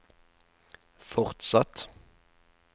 fortsatt